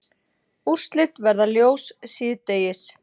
Úrslit verða ljós síðdegis